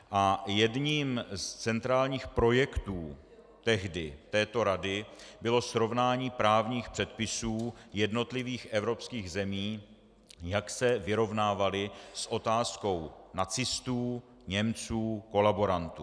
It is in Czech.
A jedním z centrálních projektů tehdy této rady bylo srovnání právních předpisů jednotlivých evropských zemí, jak se vyrovnávaly s otázkou nacistů, Němců, kolaborantů.